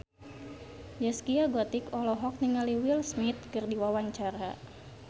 Zaskia Gotik olohok ningali Will Smith keur diwawancara